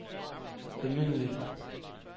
almindelig